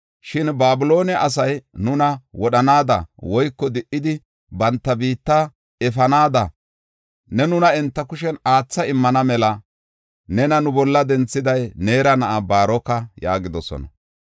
Shin Babiloone asay nuna wodhanaada woyko di77idi banta biitta efanaada ne nuna enta kushen aathada immana mela nena nu bolla denthiday Neera na7aa Baaroka” yaagidosona.